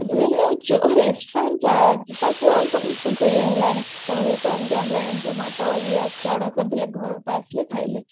ଯୋଉ restaurant ଯା ଯିବାକୁ ଆଉ ସମସ୍ତଙ୍କୁ ଇଏ ହେଲାଣି ସମସ୍ତେ ତ ଏମିତି online Zomato ଇଏ ଅଛି order କରିଦେଲେ ଘରକୁ ପଳେଇ ଆସିଲା ଖାଇଲେ